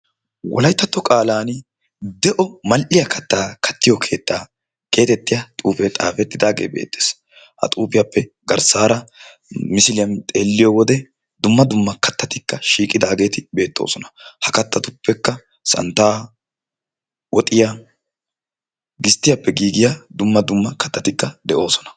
Wolayttatto qaalaani de'o mall'iya kattaa kattiyoo keettaa geetetiya xuufee xafettidaagee beettees; Ha xuufiyappe garssaara misiliyan xeelliyowode dumma dumma kattati shiiqidageeti beettoosona. Ha kattatuppekka Santtaa, Woxiya, Gisttiyaappe giigiya dumma dumma kattatikka de'oosona.